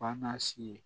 Panna si ye